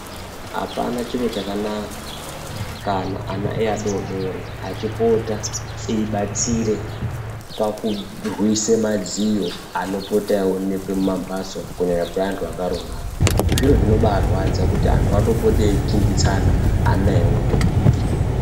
Apana chiro chakanaka kana ana eadodori achipota eibatsire pakurwise madziyo anopota eionekwa mumamphatso kunyanya kweantu akaroorana. Zviro zvinobarwadza kuti antu anopote eikinditsana ana eiona.